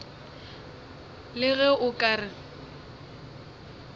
le ge o ka re